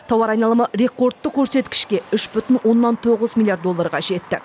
тауар айналымы рекордтық көрсеткішке үш бүтін оннан тоғыз миллиард долларға жетті